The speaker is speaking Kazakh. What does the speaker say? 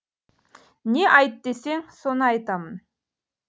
не айт десең соны айтамын